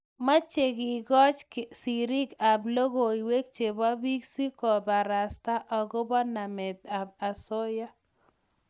mache kekoch sirik ab logoiywek chebo biik si kobarasta akoba namet ab asoya